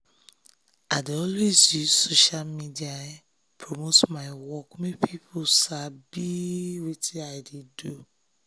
i dey always use social media take promote my work make more people sabi wetin i dey do.